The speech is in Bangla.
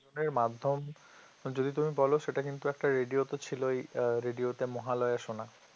এর মাধ্যম যদি তুমি বলো সেটা কিন্তু একটা radio তো ছিলই radio তে মহালয়া শোনা